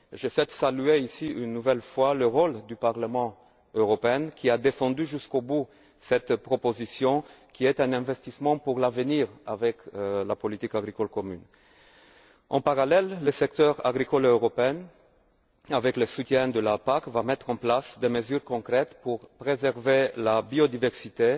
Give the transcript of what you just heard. Je souhaite saluer ici une nouvelle fois le rôle du Parlement européen, qui a défendu jusqu'au bout cette proposition, qui est un investissement pour l'avenir en lien avec la politique agricole commune. En parallèle, le secteur agricole européen, avec le soutien de la PAC, va mettre en place des mesures concrètes pour préserver la biodiversité,